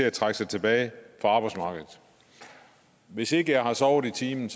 at trække sig tilbage fra arbejdsmarkedet hvis ikke jeg har sovet i timen